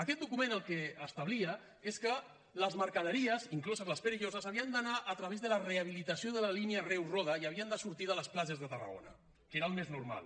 aquest document el que establia és que les mercaderies incloses les perilloses havien d’anar a través de la rehabilitació de la línia reus roda i havien de sortir de les platges de tarragona que era el més normal